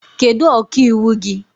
Kedu ọka iwu gị?